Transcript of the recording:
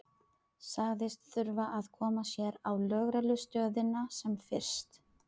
Sagðist þurfa að koma sér á lögreglustöðina sem fyrst.